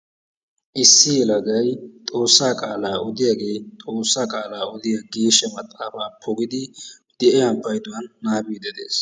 Issi yelagay xoossaa qaalaa oodiyaagee xoossaa qaalaa oodiyaa geeshsha maaxaafaa de'iyaa payduwaan nabaabidi de'ees.